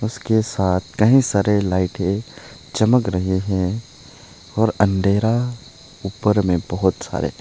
इसके साथ कहीं सारे लाइटे चमक रहे हैं और अंधेरा ऊपर में बहोत सारे--